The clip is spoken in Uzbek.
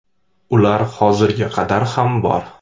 Ular hozirga qadar ham bor.